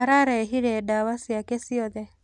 Ararĩhĩire ndawa ciake ciothe.